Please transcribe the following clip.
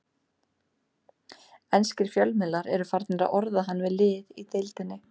Enskir fjölmiðlar eru farnir að orða hann við lið í deildinni.